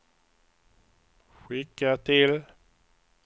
skicka till